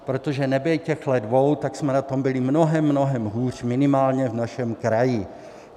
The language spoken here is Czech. Protože nebýt těchto dvou, tak jsme na to byli mnohem, mnohem hůř, minimálně v našem kraji.